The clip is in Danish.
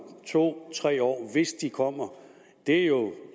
to tre år hvis de kommer det er jo